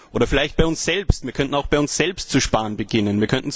Oder vielleicht bei uns selbst Wir könnten auch bei uns selbst zu sparen beginnen.